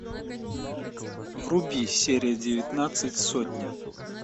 вруби серия девятнадцать сотня